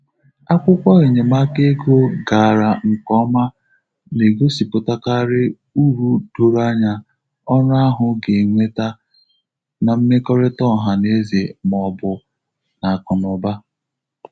Akwụkwọ enyemaka ego gara nke ọma na-egosipụtakarị uru doro anya ọrụ ahụ ga-eweta n'mmekọrịta ọha na eze ma ọ bụ n'akụ na ụba.